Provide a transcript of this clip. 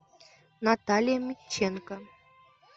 наталья митченко